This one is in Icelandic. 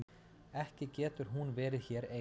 Ekki getur hún verið hér ein.